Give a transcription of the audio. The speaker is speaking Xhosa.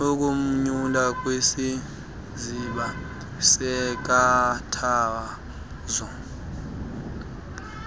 kumnyula kwisiziba seenkathazo